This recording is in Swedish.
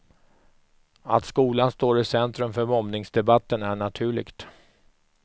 Att skolan står i centrum för mobbningsdebatten är naturligt.